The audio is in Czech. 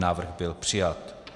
Návrh byl přijat.